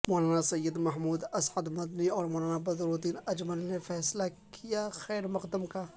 مولانا سید محمود اسعدمدنی اور مولانا بدرالدین اجمل نے فیصلہ کا خیر مقدم کیا